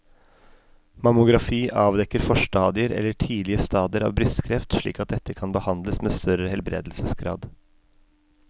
Mammografi avdekker forstadier eller tidlige stadier av brystkreft slik at dette kan behandles med større helbredelsesgrad.